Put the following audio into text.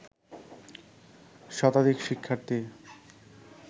শতাধিক শিক্ষার্থী